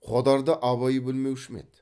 қодарды абай білмеуші ме еді